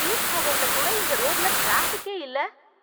Peak ஹவர்ல கூட இந்த ரோட்டுல டிராபிக்கே இல்ல.